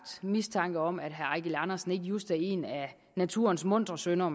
mistanke om at herre eigil andersen ikke just er en af naturens muntre sønner og